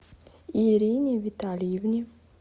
ирине витальевне